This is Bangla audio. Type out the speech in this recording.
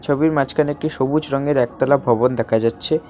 ছবির মাঝখানে একটি সবুজ রঙের একতলা ভবন দেখা যাচ্ছে।